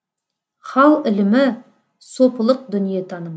хал ілімі сопылық дүниетаным